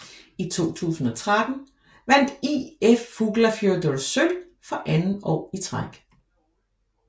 I 2013 vandt ÍF Fuglafjørður sølv for anden år i træk